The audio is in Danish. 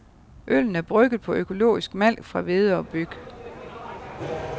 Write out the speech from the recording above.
Øllen er brygget på økologisk malt fra hvede og byg.